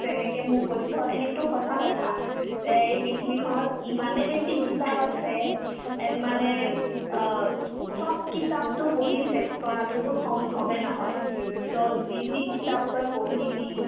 তই যেনেকে মোক কৈছ এনে তো সঁচা কথা যে এই পৃথিৱীখনত ইমানে বেছি কিতাপ আছে and মানে অব চব কিতাপতো পঢ়ি চেচ কৰাটোতো সম্ভবে নহয় so যি যি কিতাপ তই পঢ়িবি